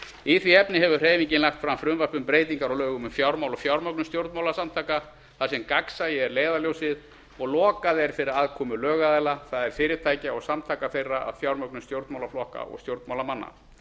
í því efni hefur hreyfingin lagt fram frumvarp um breytingar á lögum um fjármál og fjármögnun stjórnmálasamtaka þar sem gagnsæi er leiðarljósið og lokað er fyrir aðkomu lögaðila það er fyrirtækja og samtaka þeirra að fjármögnun stjórnmálaflokka og stjórnmálamanna